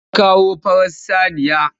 Ta kawo farar saniya.